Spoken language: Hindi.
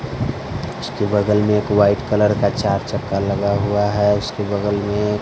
उसके बगल में एक वाइट कलर का चार चक्का लगा हुआ है उसके बगल में--